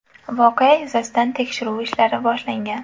Voqea yuzasidan tekshiruv ishlari boshlangan.